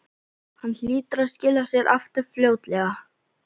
Hann hlýtur að skila sér aftur fljótlega